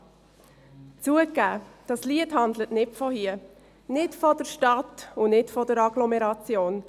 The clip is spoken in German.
» Zugegeben, dieses Lied handelt nicht von hier, nicht von der Stadt und nicht von der Agglomeration;